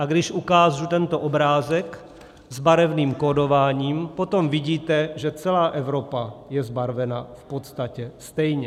A když ukážu tento obrázek s barevným kódováním, potom vidíme, že celá Evropa je zbarvena v podstatě stejně.